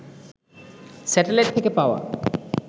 satellite থেকে পাওয়া